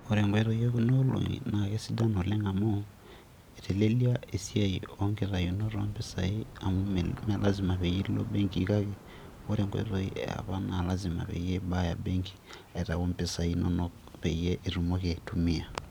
ore enkoitoi e kuna olong'i naa keisidan oleng amu, iteleliaa esiai oo nkitainot oo mpisai amu mme lasima peyie ilo benki kake ore enkoitoi yiee apa naa lasima peyie ibaya, benki aitau mpisai inonok peyie itumoki aitumia.